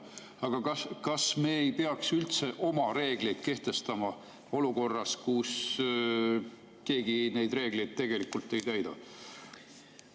Aga kas me ei peaks üldse oma reegleid kehtestama olukorras, kus keegi neid reegleid tegelikult ei täida?